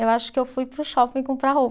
Eu acho que eu fui para o shopping comprar roupa.